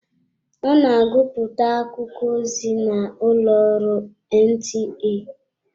Ọ na agụpụta akụkọ ozi n'ụlọ ọrụ NTA.